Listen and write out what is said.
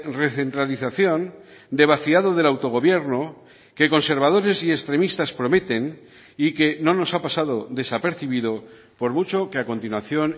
recentralización de vaciado del autogobierno que conservadores y extremistas prometen y que no nos ha pasado desapercibido por mucho que a continuación